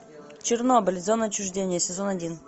чернобыль зона отчуждения сезон один